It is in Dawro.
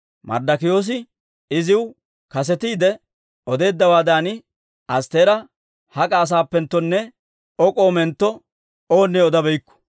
Marddokiyoosi iziw kasetiide odeeddawaadan, Astteera hak'a asaappenttonne O k'omentto owunne odabeykku.